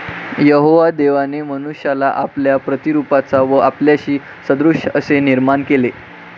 यहोवा देवाने मनुष्याला आपल्या प्रतिरुपाचा व आपल्याशी सदृश असे निर्माण केले.